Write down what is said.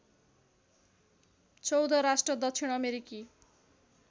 १४ राष्ट्र दक्षिण अमेरिकी